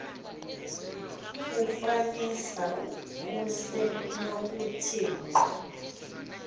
kufanisa kusenokuthi ngqo